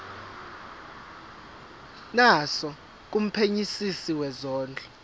naso kumphenyisisi wezondlo